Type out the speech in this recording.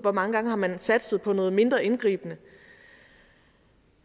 hvor mange gange man har satset på noget mindre indgribende